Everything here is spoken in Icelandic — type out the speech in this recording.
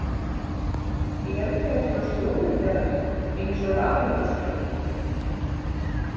Eru þeir svona slúðurberar eins og Ratatoskur?